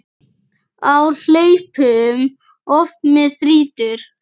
Á hlaupum oft mig þrýtur.